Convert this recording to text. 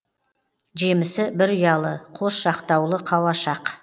жемісі бір ұялы қос жақтаулы қауашақ